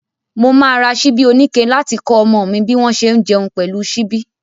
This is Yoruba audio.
Mo máa ra ṣíbí oníke láti kọ́ ọmọ mi bí wọ́n ṣe ń jẹun pẹ̀lú ṣíbí.